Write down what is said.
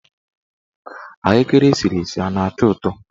Ahụekere esiri esi a na-atọ ụtọ?